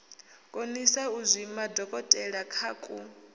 konisa u zwima dokotelakha ku